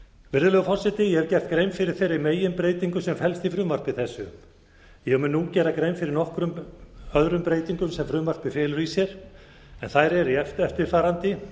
virðulegur forseti ég hef gert grein fyrir þeirri meginbreytingu sem felst í frumvarpi þessu ég mun nú gera grein fyrir nokkrum öðrum breytingum sem frumvarpið felur í sér en þær eru eftirfarandi